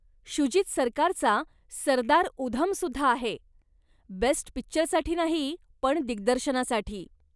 शुजित सरकारचा सरदार उधमसुद्धा आहे, बेस्ट पिक्चरसाठी नाही, पण दिग्दर्शनासाठी.